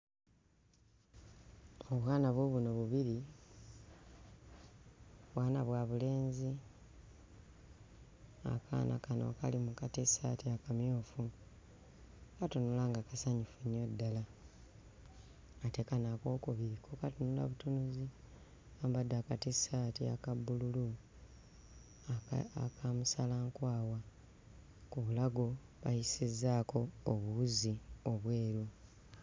Obwana buubuno bubiri; bwana bwa bulenzi. Akaana kano akali mu katissaati akamyufu katunula nga kasanyufu ddala ate kano ak'okubiri ko katunula butunuzi, kambadde akatissaati aka bbululu aka... aka musalankwawa; ku bulago bayisizzaako obuwuzi obweru.